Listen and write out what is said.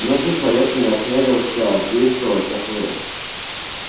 ни один человек не осмелился действовать как вы